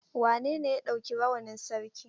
Wanene ya ɗauki rawanin sarki?